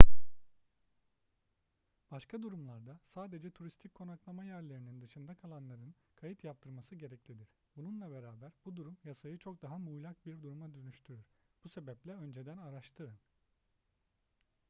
başka durumlarda sadece turistik konaklama yerlerinin dışında kalanların kayıt yaptırması gereklidir bununla beraber bu durum yasayı çok daha muğlak bir duruma dönüştürür bu sebeple önceden araştırın